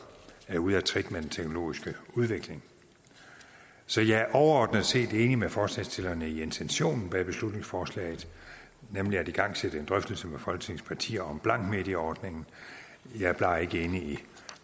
er ude af trit med den teknologiske udvikling så jeg er overordnet set enig med forslagsstillerne i intentionen bag beslutningsforslaget nemlig at igangsætte en drøftelse med folketings partier om blankmedieordningen jeg er bare ikke enig i